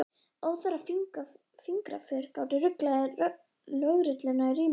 Óþarfa fingraför gátu ruglað lögregluna í ríminu.